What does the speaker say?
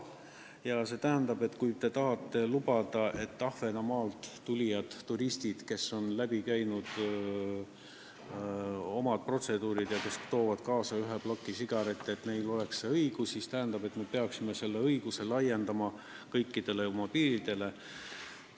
Ja see tähendab, et kui tahetakse lubada, et Ahvenamaalt tulnud turistid, kes on läbi käinud omad protseduurid ja toonud kaasa ühe ploki sigarette, saaksid selle õiguse, siis me peaksime seda õigust laiendama, nii et see kehtib kõikidel piiridel.